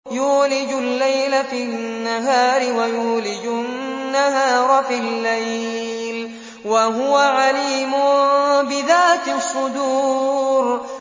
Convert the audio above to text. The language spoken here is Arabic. يُولِجُ اللَّيْلَ فِي النَّهَارِ وَيُولِجُ النَّهَارَ فِي اللَّيْلِ ۚ وَهُوَ عَلِيمٌ بِذَاتِ الصُّدُورِ